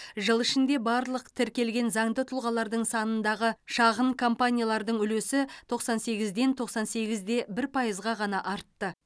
жыл ішінде барлық тіркелген заңды тұлғалардың санындағы шағын компаниялардың үлесі тоқсан сегізден ден тоқсан сегіз де бір пайызға ғана артты